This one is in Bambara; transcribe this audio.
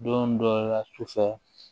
Don dɔ la sufɛ